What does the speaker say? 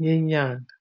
ngenyanga.